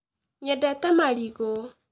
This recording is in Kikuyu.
Nyendete marigũ